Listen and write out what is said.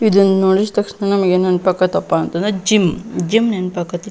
ಇದನ್ನ ನೋಡಿದ್ ತಕ್ಷಣ ನಮಿಗೆನ್ ನೆನಪ್ ಅಕತಪ್ಪ ಅಂತಂದ್ರ ಜಿಮ್ ಜಿಮ್ ನೆನಪ್ ಆಕತಿ.